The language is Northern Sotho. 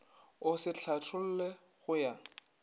o se hlatholle go ya